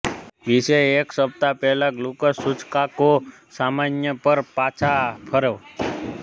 વિશે એક સપ્તાહ પહેલા ગ્લુકોઝ સૂચકાંકો સામાન્ય પર પાછા ફરો